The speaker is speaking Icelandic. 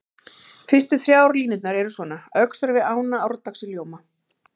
Fyrstu þrjár línurnar eru svona: Öxar við ána árdags í ljóma